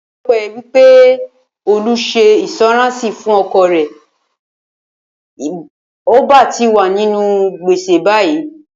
O̩pé̩lo̩pé̩ wí pé Olú s̩e ìǹs̩ó̩ráǹsì fún o̩kò̩ rè̩, ì bá ti wà nínú gbèsè báyìí